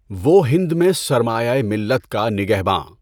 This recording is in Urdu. وہ ہِند میں سرمایۂ ملّت کا نِگہباں